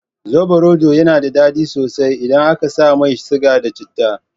Sobarodo yana daɗi sosai idan aka sa mai siga da citta.